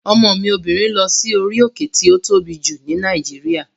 Ọmọ mi obìnrin lọ sí orí òkè tí ó tóbi jù ní Nàìjíríà